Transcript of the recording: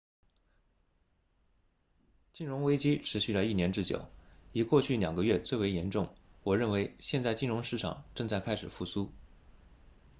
金融危机持续了一年之久以过去两个月最为严重我认为现在金融市场正在开始复苏